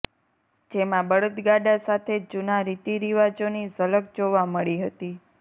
જેમાં બળદગાડાં સાથે જુના રીતરિવાજોની ઝલક જોવા મળી હતી